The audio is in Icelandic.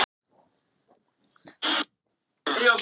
Það er mikilvægt fyrir mig og þess vegna kom ég hingað.